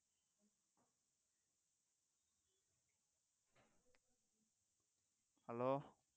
hello